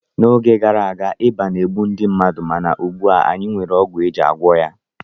N'oge gara aga, ịba na-egbu ndị mmadụ mana ugbu a anyị nwere ọgwụ iji gwọọ ya